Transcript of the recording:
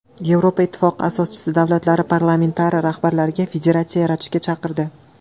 Yevropa Ittifoqi asoschi davlatlari parlamentlari rahbarlari federatsiya yaratishga chaqirdi.